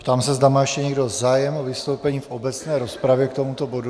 Ptám se, zda má ještě někdo zájem o vystoupení v obecné rozpravě k tomuto bodu.